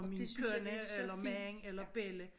Og min kone eller mand eller belli